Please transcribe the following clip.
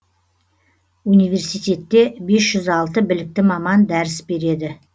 университетте бес жүз алты білікті маман дәріс береді